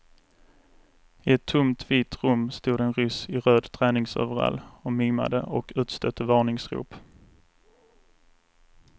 I ett tomt vitt rum stod en ryss i röd träningsoverall och mimade och utstötte varningsrop.